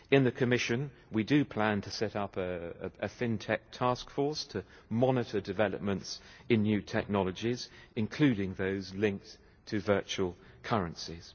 In the Commission we plan to set up a FinTech task force to monitor developments in new technologies, including those linked to virtual currencies.